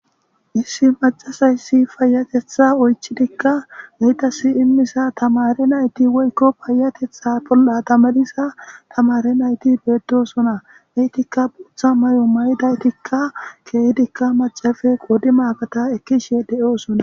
Issi macasayssi fayatetha oychidikka geytasi immisa tamare nayti woykko payatetha bol'a tamadisa tamare nayti beeddosona eytikka buutha may'o maydaytikka keehidikka macafe qodi makata ekkishe de'oosona.